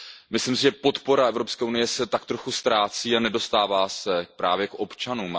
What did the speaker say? Myslím si, že podpora Evropské unie se tak trochu ztrácí a nedostává se právě k občanům.